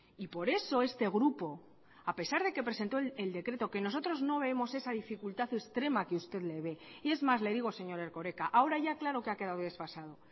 y por eso este grupo a pesar de que presentó el decreto que nosotros no vemos esa dificultad extrema que usted le ve y es más le digo señor erkoreka ahora ya claro que ha quedado desfasado